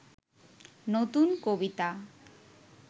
নতুন কবিতা